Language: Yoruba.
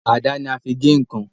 Àdá ní a fín gè nkán.